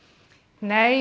nei